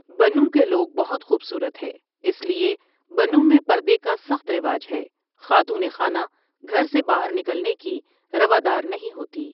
بنوں کے لوگ بھت خوبصورت ہے اس لیے بنوں میں پردے کا سخت رواج ہے خاتون خانہ گھر سے باہر نکلنے کی روادر نہیں ہوتی ۔